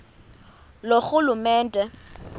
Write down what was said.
loorhulumente